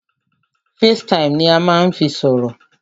Facetime ni a máà ń fí n sọ̀rọ̀.